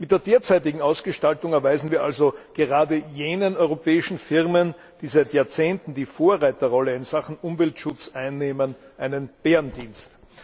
Mit der derzeitigen Ausgestaltung erweisen wir also gerade jenen europäischen Firmen, die seit Jahrzehnten die Vorreiterrolle in Sachen Umweltschutz einnehmen, einen Bärendienst.